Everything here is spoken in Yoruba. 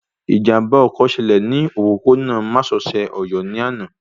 Ìjàmbá ọkọ̀ ṣẹlẹ̀ ní òpópó-ònà másosẹ̀ Ọ̀yọ́ ní àná